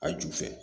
A ju fɛ